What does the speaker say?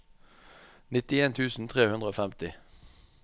nittien tusen tre hundre og femti